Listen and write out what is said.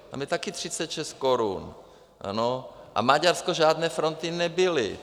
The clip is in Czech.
Tam je taky 36 korun a v Maďarsku žádné fronty nebyly.